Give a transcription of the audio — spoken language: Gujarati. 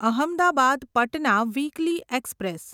Ahmedabad Patna weekly express